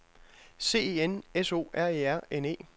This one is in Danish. C E N S O R E R N E